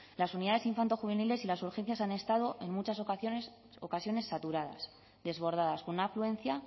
las unidades infantojuveniles y las urgencias han estado en muchas ocasiones saturadas desbordadas con una afluencia